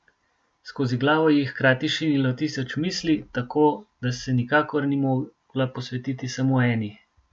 Skozi glavo ji je hkrati šinilo tisoč misli, tako da se nikakor ni mogla posvetiti samo eni.